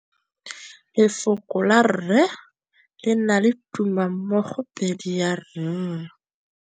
Lefoko la rre, le na le tumammogôpedi ya, r.